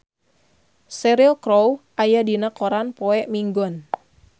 Cheryl Crow aya dina koran poe Minggon